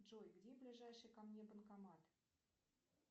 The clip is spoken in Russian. джой где ближайший ко мне банкомат